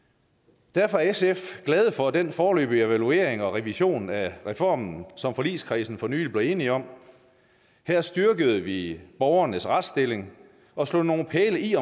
derfor sf glade for den foreløbige evaluering og revision af reformen som forligskredsen for nylig er blevet enige om her styrkede vi borgernes retsstilling og slog nogle pæle i i